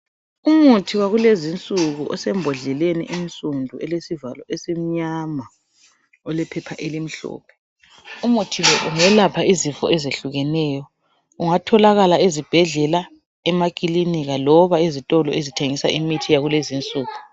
Umuthi wakulezinsuku osebhodleleni ensudu elesivalo esimnyama, olephepha elimhlophe. Umuthi lo ungelapha izifo ezihlukeneyo. Ungathokakala ezibhedlela, emakilinika loba izitolo ezithengisa imithi yakulezinsuku.